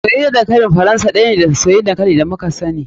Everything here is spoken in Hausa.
Soyayyar dankali faransa ɗaya ne da soyayyan dankali da muka sani.